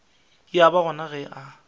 ya ba gona ge a